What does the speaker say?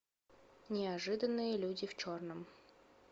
неожиданные люди в черном